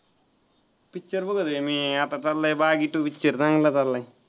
picture बघतोय मी आता चाललंय बागी two picture चांगला चालला आहे.